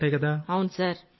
దూరంగా ఉంటాయికదా